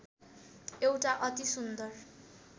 एउटा अति सुन्दर